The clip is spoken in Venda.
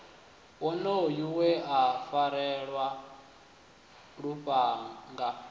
wonoyo we a farelwa lufhanga